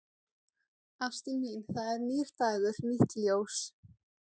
Ástin mín, það er nýr dagur, nýtt ljós.